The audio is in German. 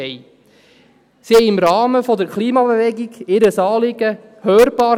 Sie machten ihr Anliegen im Rahmen der Klimabewegung hörbar;